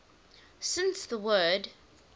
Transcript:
since the word